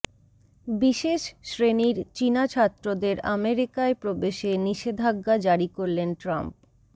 বিশেষ শ্রেণীর চিনা ছাত্রদের আমেরিকায় প্রবেশে নিষেধাজ্ঞা জারি করলেন ট্রাম্প